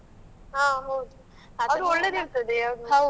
ಹಾ ಹೌದು .